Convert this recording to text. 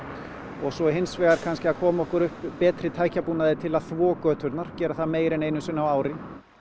og svo hins vegar kannski að koma okkur upp betri tækjabúnaði til að þvo göturnar gera það meira en einu sinni á ári